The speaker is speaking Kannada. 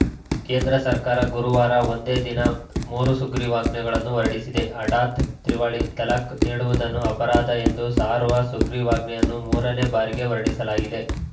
ಕೇಂದ್ರ ಸರ್ಕಾರ ಗುರುವಾರ ಒಂದೇ ದಿನ ಮೂರು ಸುಗ್ರೀವಾಜ್ಞೆಗಳನ್ನು ಹೊರಡಿಸಿದೆ ಹಠಾತ್‌ ತ್ರಿವಳಿ ತಲಾಖ್‌ ನೀಡುವುದನ್ನು ಅಪರಾಧ ಎಂದು ಸಾರುವ ಸುಗ್ರೀವಾಜ್ಞೆಯನ್ನು ಮೂರನೇ ಬಾರಿಗೆ ಹೊರಡಿಸಲಾಗಿದೆ